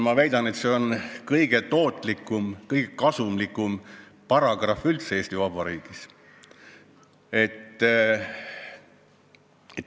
Ma väidan, et see on kõige tootlikum, kõige kasumlikum paragrahv üldse Eesti Vabariigis.